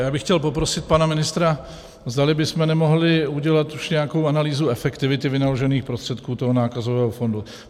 Já bych chtěl poprosit pana ministra, zdali bychom nemohli udělat už nějakou analýzu efektivity vynaložených prostředků toho nákazového fondu.